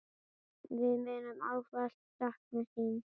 Við munum ávallt sakna þín.